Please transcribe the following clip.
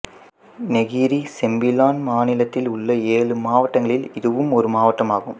Negeri Sembilan மாநிலத்தில் உள்ள ஏழு மாவட்டங்களில் இதுவும் ஒரு மாவட்டம் ஆகும்